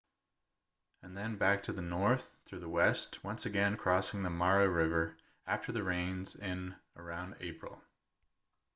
and then back to the north through the west once again crossing the mara river after the rains in around april